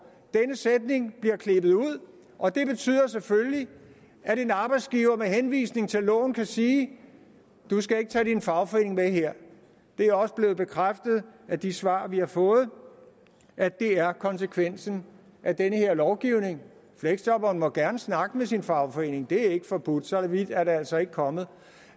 denne sætning bliver klippet ud og det betyder selvfølgelig at en arbejdsgiver med henvisning til loven kan sige du skal ikke tage din fagforening med her det er også blevet bekræftet af de svar vi har fået at det er konsekvensen af den her lovgivning fleksjobberen må gerne snakke med sin fagforening det er ikke forbudt så vidt er det altså ikke kommet